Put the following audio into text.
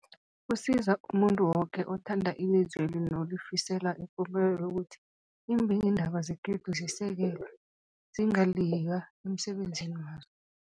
Kusiza umuntu woke othanda ilizweli nolifisela ipumelelo ukuthi iimbikiindaba zekhethu zisekelwe, zingaliywa emsebenzini wazo.